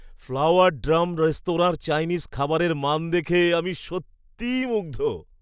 Flower drum রেস্তোরাঁর Chinese খাবারের মান দেখে আমি সত্যিই মুগ্ধ।